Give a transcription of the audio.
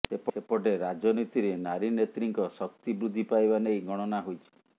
ସେପଟେ ରାଜନୀତିରେ ନାରୀ ନେତ୍ରୀଙ୍କ ଶକ୍ତି ବୃଦ୍ଧି ପାଇବା ନେଇ ଗଣନା ହୋଇଛି